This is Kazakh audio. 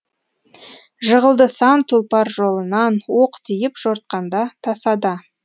жығылды сан тұлпар жолынан оқ тиіп жортқанда тасада